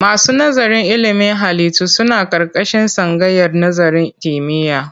Masu nazarin ilimin halittu suna ƙarƙashin tsangayar nazarin kimiyya.